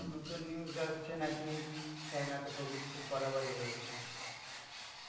নুতন news আসছে নাকি China তে COVID খুব বাড়াবাড়ি হয়েছে.